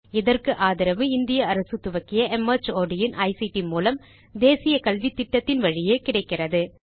இதற்கு ஆதரவு இந்திய அரசு துவக்கிய மார்ட் இன் ஐசிடி மூலம் தேசிய கல்வித்திட்டத்தின் வழியே கிடைக்கிறது